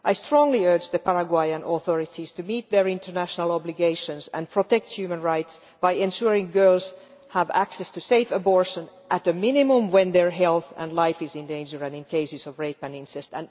I strongly urge the Paraguayan authorities to meet their international obligations and protect human rights by ensuring girls have access to safe abortion, at least when their health and life are in danger and in cases of rape and incest.